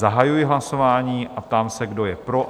Zahajuji hlasování a ptám se, kdo je pro?